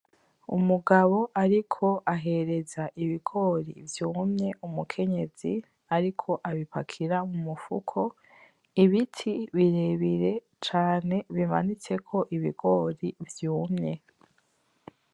Umugabo ariko ahereza ibigori vyumye umukenyezi ariko abipakira mumufuko, ibiti birebire cane bimanitseko ibigori vyumye.